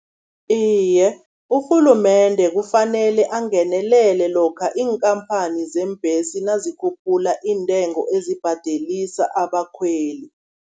Iye, urhulumende kufanele angenelele lokha iinkhamphani zeembhesi, nazikhuphula iintengo ezibhadelisa abakhweli.